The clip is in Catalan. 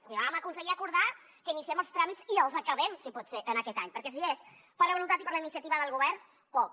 és a dir vam aconseguir acordar que iniciem els tràmits i els acabem si pot ser aquest any perquè si és per la voluntat i per la iniciativa del govern poc